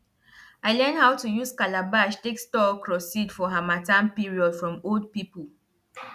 i learn how to use calabash take store okro seed for harmattan period from old pipo